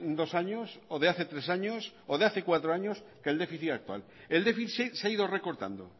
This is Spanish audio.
dos años o de hace tres años o de hace cuatro años que el déficit actual el déficit se ha ido recortando